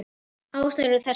Ástæður eru þessar